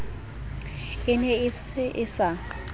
ne e se e sa